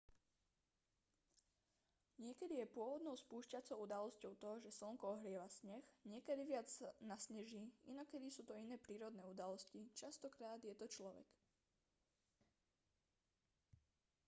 niekedy je pôvodnou spúšťacou udalosťou to že slnko ohrieva sneh niekedy viac nasneží inokedy sú to iné prírodné udalosti častokrát je to človek